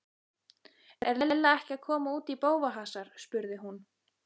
Er Lilla ekki að koma út í bófahasar? spurði hún.